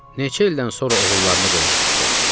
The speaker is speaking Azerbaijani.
Neçə ildən sonra oğullarına qovuşmuşdular.